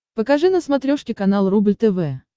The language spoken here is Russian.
покажи на смотрешке канал рубль тв